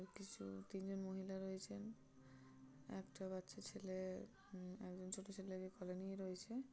তিনজন মহিলা রয়েছেন । একটা বাচ্চা ছেলে উম একজন ছোট ছেলেকে কোলে নিয়ে রয়েছে।